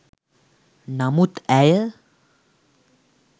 නමුත් ඇය